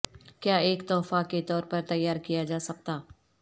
کیا ایک تحفہ کے طور پر تیار کیا جا سکتا